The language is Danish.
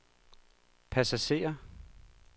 passagerer